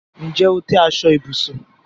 Ǹjẹ́ o tẹ̀ aṣọ ibùsùn?